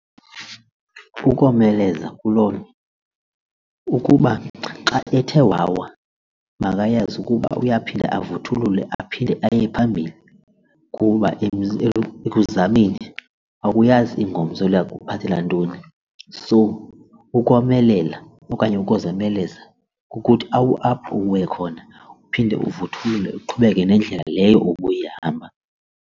Ukomeleza kulona ukuba xa ethe wawa makayazi ukuba uyaphinda avuthele aphinde aye phambili kuba ekuzameni awuyazi kum ingomso liyakuphathela ntoni so ukomelela okanye ukuzomeleza kukuthi apho uwe khona uphinde uvuthulele uqhubeke nendlela leyo ubuyihamba.